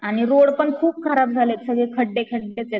आणि रोडपण खूप खराब झाले सगळे खड्डे खड्डेचेत.